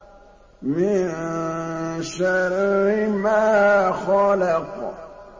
مِن شَرِّ مَا خَلَقَ